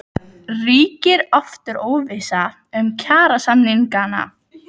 Ríkir aftur óvissa um kjarasamningana?